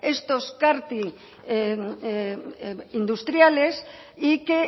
estos cart industriales y que